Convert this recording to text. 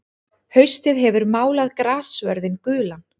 Haustið hefur málað grassvörðinn gulan.